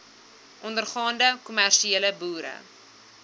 ondergaande kommersiële boere